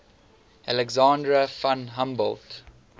alexander von humboldt